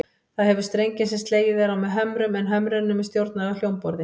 Það hefur strengi sem slegið er á með hömrum, en hömrunum er stjórnað af hljómborði.